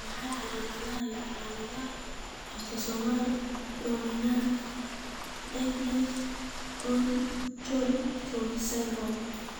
Waa maxay calaamadaha iyo calaamadaha Autosomal dominant deafness onychodystrophy syndrome?